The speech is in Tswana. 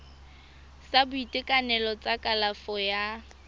sa boitekanelo sa kalafo ya